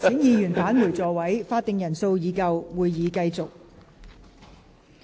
會議廳內已有足夠法定人數，會議現在繼續。